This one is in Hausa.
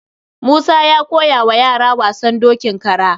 Musa ya koya wa yara wasan dokin kara.